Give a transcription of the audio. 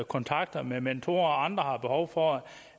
kontakt med mentorer mens andre har behov for